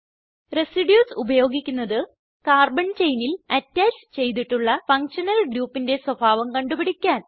residues ഉപയോഗിക്കുന്നത് carbon ചെയിനിൽ attach ചെയ്തിട്ടുള്ള ഫങ്ഷനൽ ഗ്രൂപ്പിന്റെ സ്വഭാവം കണ്ടുപിടിക്കാൻ